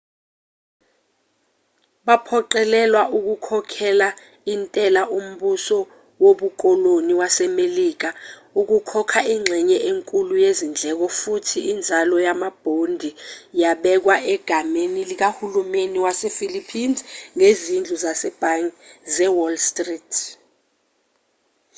baphoqelelwa ukukhokhela intela umbuso wobukoloni wasemelika ukukhokha ingxenye enkulu yezindleko futhi inzalo yamabhondi yabekwa egameni likahulumeni wasephilippines ngezindlu zasebhange zewall street